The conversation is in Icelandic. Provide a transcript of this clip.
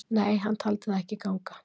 Nei, hann taldi það ekki að ganga.